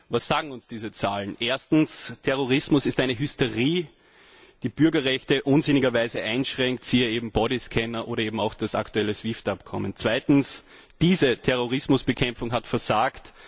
Was sagen uns diese Zahlen? Erstens Terrorismus ist eine Hysterie, die die Bürgerrechte unsinnigerweise einschränkt, siehe Bodyscanner oder auch das aktuelle SWIFT Abkommen. Zweitens Diese Terrorismusbekämpfung hat versagt.